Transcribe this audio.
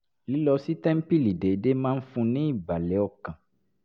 lílọ sí tẹ́ńpìlì déédéé máa ń fún un ní ìbàlẹ̀ ọkàn